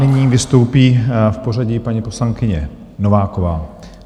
Nyní vystoupí v pořadí paní poslankyně Nováková.